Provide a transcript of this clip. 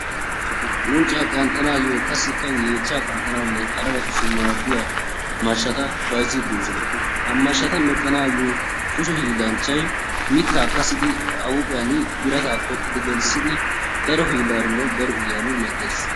unccaa qanxxanaayo qsssikka yeechcha qanxxanawnne harsbatussi maaddiya mashshata bayzzidi doosona ha mashshata medhdhanayo kushe hiillanchchay mittaa kasidi a huuphiyani birataa qoxxidi gelisidi daro hiillaaninne daro ogiyan medhees.